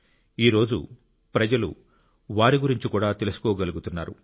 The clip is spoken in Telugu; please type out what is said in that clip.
ఈ రోజు ప్రజలు వారి గురించి కూడా తెలుసుకోగలుగుతున్నారు